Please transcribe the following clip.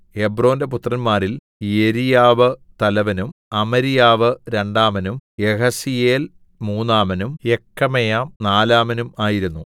ഹെബ്രോന്റെ പുത്രന്മാരിൽ യെരീയാവ് തലവനും അമര്യാവ് രണ്ടാമനും യഹസീയേൽ മൂന്നാമനും യെക്കമെയാം നാലാമനും ആയിരുന്നു